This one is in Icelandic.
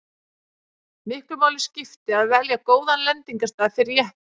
miklu máli skipti að velja góðan lendingarstað fyrir jeppann